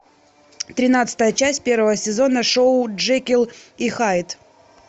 тринадцатая часть первого сезона шоу джекил и хайд